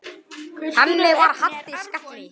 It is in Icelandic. Þannig var Haddi.